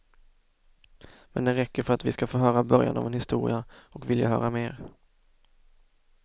Men den räcker för att vi ska få höra början av en historia och vilja höra mer.